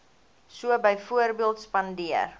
so byvoorbeeld spandeer